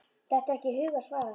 Dettur ekki í hug að svara.